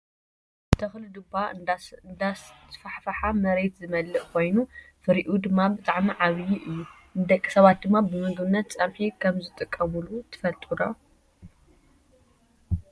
ተክሊ ዱባ እንዳስፋሕፈሓ መሬት ዝመልእ ኮይኑ ፍሪኡ ድማ ብጣዕሚ ዓብይ እዩ። ንደቂ ሰባት ድማ ብምግብነት ፀብሒ ከም ዝጥቀሙሉ ትፈልጡ ዶ ?